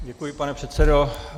Děkuji, pane předsedo.